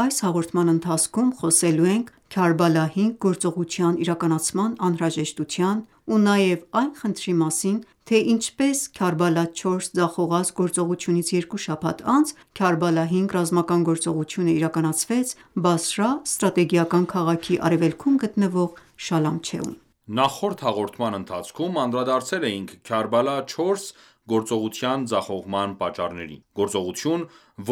Այս հաղորդման ընթացքում խոսելու ենք Քարբալա -5 գործողության իրականացման անհրաժեշտության ու նաև այն խնդրի մասին ,թե ինչպես Քարբալա -4 ձախողած գործողությունից երկու շաբաթ անց Քարբալա-5 ռազմական գործողությունը իրականացվեց Բասրա ստրատեգիական քաղաքի արևելքում գտնվող Շալամչեում: Նախորդ հաղորդման ընթացքում անդրադարձել էինք «Քարբալա 4» գործողության ձախողման պատճառներին։ Գործողություն,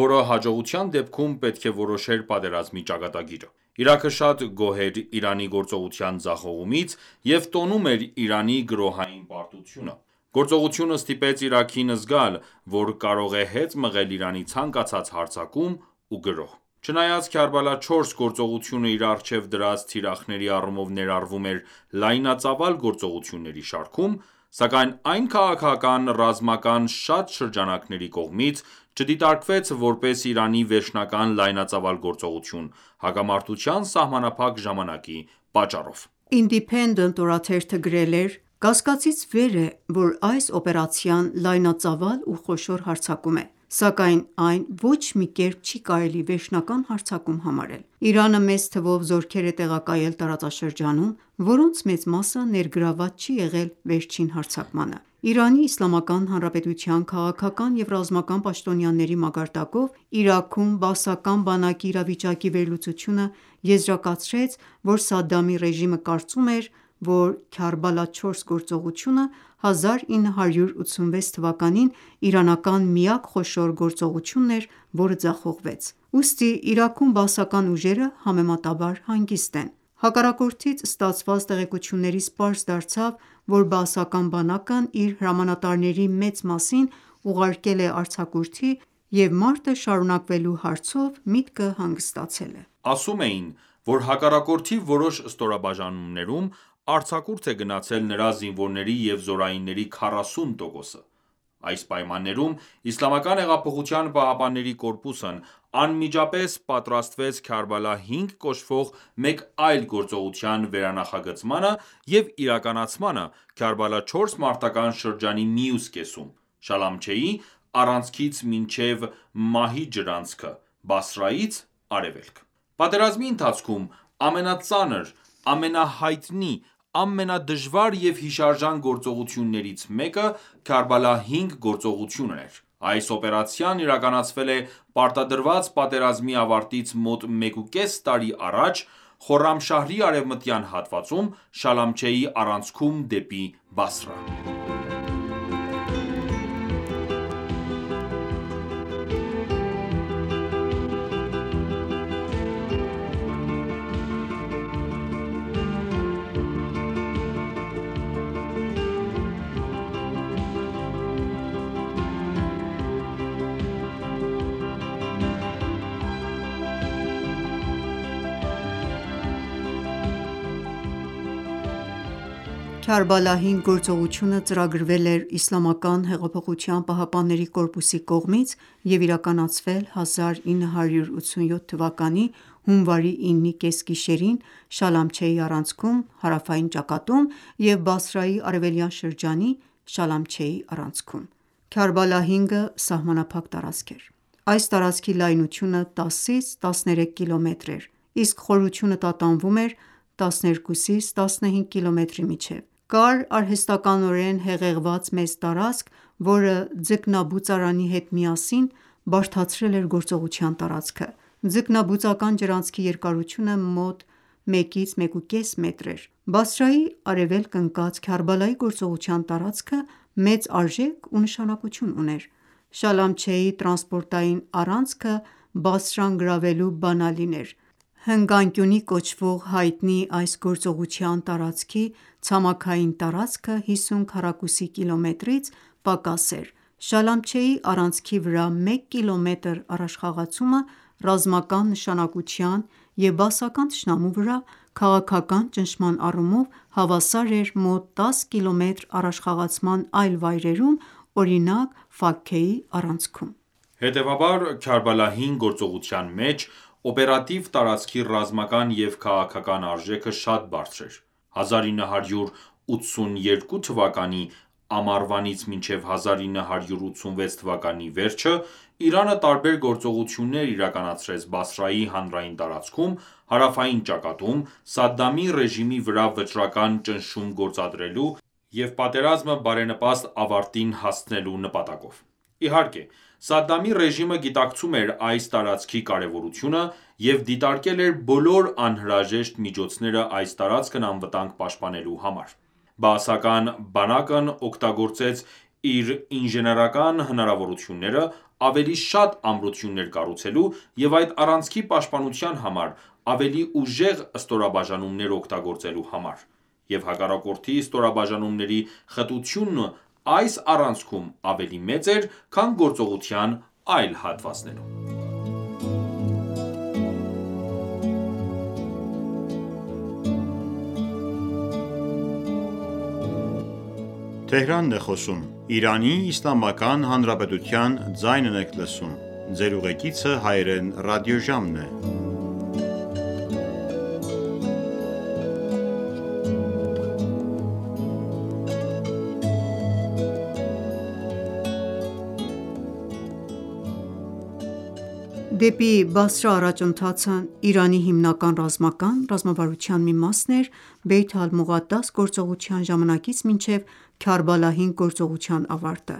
որը հաջողության դեպքում պետք է որոշեր պատերազմի ճակատագիրը։ Իրաքը շատ գոհ էր Իրանի գործողության ձախողումից և տոնում էր Իրանի գրոհային պարտությունը։ Գործողությունը ստիպեց Իրաքին զգալ, որ կարող է հետ մղել Իրանի ցանկացած հարձակում ու գրոհ: Չնայած «Քարբալա 4» գործողությունը իր առջև դրած թիրախների առումով ներառվում էր լայնածավալ գործողությունների շարքում, սակայն այն քաղաքական-ռազմական շատ շրջանակների կողմից չդիտարկվեց որպես Իրանի վերջնական լայնածավալ գործողություն՝ հակամարտության սահմանափակ ժամանակի պատճառով։ Ինդիփենդենտ օրաթերթը գրել էր.«Կասկածից վեր է, որ այս օպերացիան լայնածավալ ու խոշոր հարձակում է, սակայն այն ոչ մի կերպ չի կարելի վերջնական հարձակում համարել։ Իրանը մեծ թվով զորքեր է տեղակայել տարածաշրջանում, որոնց մեծ մասը ներգրավված չի եղել վերջին հարձակմանը»: ԻԻՀ-ի քաղաքական և ռազմական պաշտոնյաների մակարդակով, Իրաքում բաասական բանակի իրավիճակի վերլուծությունը եզրակացրեց, որ Սադամի ռեժիմը կարծում էր, որ «Քարբալա 4» գործողությունը 1986 թվականին իրանական միակ խոշոր գործողությունն էր, որը ձախողվեց: Ուստի Իրաքում բաասական ուժերը համեմատաբար հանգիստ են։ Հակառակորդից ստացված տեղեկություններից պարզ դարձավ, որ բաասական բանակն իր հրամանատարների մեծ մասին ուղարկել է արձակուրդի և մարտը շարունակվելու հարցով միտքը հանգստացել է: Ասում էին, որ հակառակորդի որոշ ստորաբաժանումներում արձակուրդ է գնացել նրա զինվորների և զորայինների 40 տոկոսը։ Այս պայմաններում ԻՀՊԿ-ն անմիջապես պատրաստվեց Քարբալա 5 կոչվող մեկ այլ գործողության վերանախագծմանը և իրականացմանը Քարբալա 4 մարտական ​​շրջանի մյուս կեսում՝ Շալամչեի առանցքից մինչև Մահի ջրանցք, Բասրայից արևելք։ Պատերազմի ընթացքում ամենածանր, ամենահայտնի, ամենադժվար և հիշարժան գործողություններից մեկը Քարբալա-5 գործողությունն էր: Այս օպերացիան իրականացվել է պարտադրված պատերազմի ավարտից մոտ մեկուկես տարի առաջ Խորրամշահրի արեւմտյան հատվածում՝ Շալամչեի առանցքում դեպի Բասրա։ «Քարբալա-5» գործողությունը ծրագրվել է ԻՀՊԿ-ի կողմից և իրականացվել է 1987 թվականի հունվարի 9-ի կեսգիշերին Շալամչեի առանցքում հարավային ճակատում և Բասրայի արևելյան շրջանի Շալամչեի առանցքում: Քարբալա-5-ը սահմանափակ տարածք էր։ Այս տարածքի լայնությունը 10-ից 13 կմ. էր, իսկ խորությունը տատանվում էր 12-15 կմ.-ի միջև։ Կար արհեստականորեն հեղեղված մեծ տարածք, որը ձկնաբուծարանի հետ միասին բարդացրել էր գործողության տարածքը։ Ձկնաբուծական ջրանցքի երկարությունը մոտ 1-ից 1,5 մետր էր։ Բասրայից արեւելք ընկած Քարբալայի գործողության տարածքը մեծ արժեք ու նշանակություն ուներ։ Շալամչեի տրանսպորտային առանցքը Բասրան գրավելու բանալին էր: Հնգանկյունի կոչվող հայտնի այս գործողության տարածքի ցամաքային տարածքը հիսուն քառակուսի կիլոմետրից պակաս էր։ Շալամչեի առանցքի վրա մեկ կիլոմետր առաջխաղացումը, ռազմական նշանակության և բաասական թշնամու վրա քաղաքական ճնշման առումով հավասար էր մոտ 10 կիլոմետր առաջխաղացման այլ վայրերում, օրինակ՝ Ֆաքքեի առանցքում: Հետևաբար, Քարբալա-5 գործողության մեջ օպերատիվ տարածքի ռազմական և քաղաքական արժեքը շատ բարձր էր: 1982 թվականի ամառվանից մինչև 1986 թվականի վերջը Իրանը տարբեր գործողություններ իրականացրեց Բասրայի հանրային տարածքում՝ հարավային ճակատում՝ Սադամի ռեժիմի վրա վճռական ճնշում գործադրելու և պատերազմը բարենպաստ ավարտին հասցնելու նպատակով։ Իհարկե, Սադամի ռեժիմը գիտակցում էր այս տարածքի կարևորությունը և դիտարկել էր բոլոր անհրաժեշտ միջոցները այս տարածքն անվտանգ պաշտպանելու համար։ Բաասական բանակն օգտագործեց իր ինժեներական հնարավորությունները՝ ավելի շատ ամրություններ կառուցելու և այդ առանցքի պաշտպանության համար ավելի ուժեղ ստորաբաժանումներ օգտագործելու համար, և հակառակորդի ստորաբաժանումների խտությունն այս առանցքում ավելի մեծ էր, քան գործողության այլ հատվածներում։ Քարբալա-5 գործողության պլանը Դեպի Բասրա առաջընթացը Իրանի հիմնական ռազմական ռազմավարության մի մասն էր Բեյթ Ալ-Մողադաս գործողության ժամանակից մինչև Քարբալա 5 գործողության ավարտը,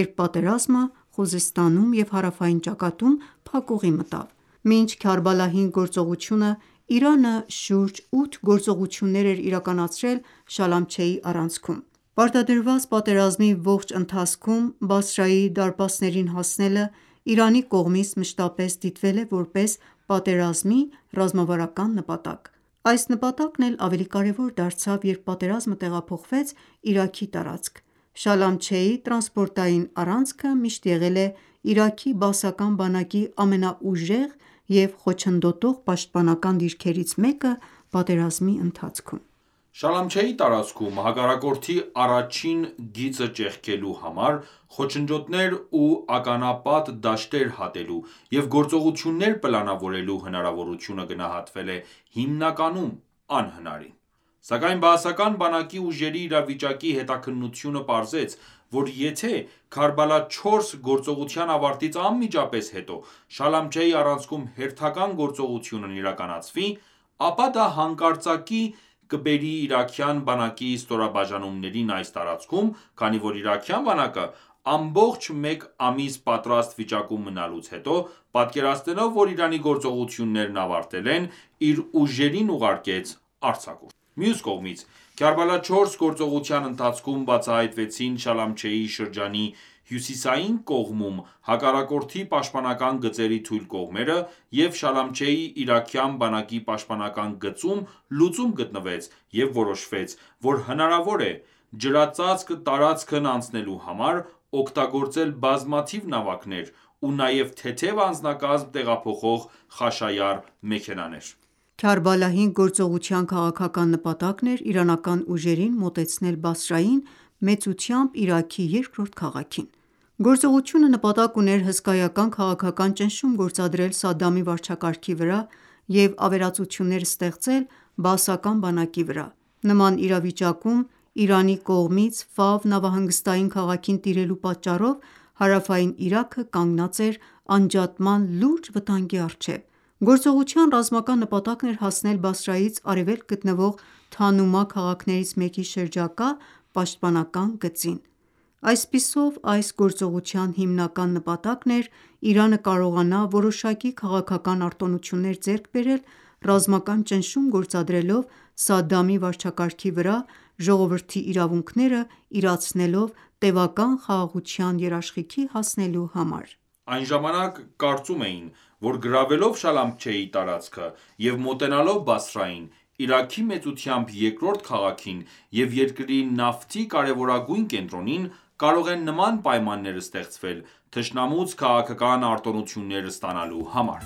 երբ պատերազմը Խուզեստանում և հարավային ճակատում փակուղի մտավ: Մինչ «Քարբալա-5» գործողությունը Իրանը շուրջ ութ գործողություններ էր իրականացրել Շալամչեի առանցքում։ Պարտադրված պատերազմի ողջ ընթացքում Բասրայի դարպասներին հասնելը Իրանի կողմից մշտապես դիտվել է որպես «պատերազմի ռազմավարական նպատակ»։ Այս նպատակն էլ ավելի կարևոր դարձավ երբ պատերազմը տեղափոխվեց Իրաքի տարածք: Շալամչեի տրանսպորտային առանցքը միշտ եղել է Իրաքի Բաասական բանակի ամենաուժեղ և խոչընդոտող պաշտպանական դիրքերից մեկը պատերազմի ընթացքում: Շալամչեի տարածքում հակառակորդի առաջին գիծը ճեղքելու համար խոչընդոտներ ու ականապատ դաշտեր հատելու և գործողություններ պլանավորելու հնարավորությունը գնահատվել է հիմնականում անհնարին։ Սակայն Բաասական բանակի ուժերի իրավիճակի հետաքննությունը պարզեց, որ եթե «Քարբալա 4» գործողության ավարտից անմիջապես հետո Շալամչեի առանցքում հերթական գործողությունն իրականացվի, ապա դա հանկարծակիի կբերի իրաքյան բանակի ստորաբաժանումներին այս տարածքում, քանի որ իրաքյան բանակը, ամբողջ մեկ ամիս պատրաստ վիճակում մնալուց հետո պատկերացնելով որ Իրանի գործողություններն ավարտվել են իր ուժերին ուղարկեց արձակուրդ: Մյուս կողմից, «Քարբալա 4» գործողության ընթացքում բացահայտվեցին Շալամչեի շրջանի հյուսիսային կողմում հակառակորդի պաշտպանական գծերի թույլ կողմերը, և Շալամչեի իրաքյան բանակի պաշտպանական գծում լուծում գտնվեց, և որոշվեց, որ հնարավոր է. ջրածածկ տարածքն անցնելու համար՝ օգտագործել բազմաթիվ նավակներ, ու նաև թեթև անձնակազմ տեղափոխող Խաշայար մեքենաներ: «Քարբալա 5» գործողության քաղաքական նպատակն էր իրանական ուժերին մոտեցնել Բասրային՝ մեծությամբ Իրաքի երկրորդ քաղաքին: Գործողությունը նպատակ ուներ հսկայական քաղաքական ճնշում գործադրել Սադամի վարչակարգի վրա և ավերածություններ ստեղծել Բաասական բանակի վրա: Նման իրավիճակում Իրանի կողմից Ֆավ նավահանգստային քաղաքին տիրելու պատճառով հարավային Իրաքը կանգնած էր անջատման լուրջ վտանգի առջեւ։ Գործողության ռազմական նպատակն էր հասնել Բասրայից արևելք գտնվող Թանումա քաղաքներից մեկի շրջակա պաշտպանական գծին։ Այսպիսով, այս գործողության հիմնական նպատակն էր Իրանը կարողանա որոշակի քաղաքական արտոնություններ ձեռք բերել՝ ռազմական ճնշում գործադրելով Սադամի վարչակարգի վրա՝ ժողովրդի իրավունքները իրացնելով տեւական խաղաղության երաշխիքի հասնելու համար։ Այն ժամանակ կարծում էին, որ գրավելով Շալամչեի տարածքը և մոտենալով Բասրային՝ Իրաքի մեծությամբ երկրորդ քաղաքին և երկրի նավթի կարևորագույն կենտրոնին, կարող են նման պայմաններ ստեղծվել թշնամուց քաղաքական արտոնություններ ստանալու համար: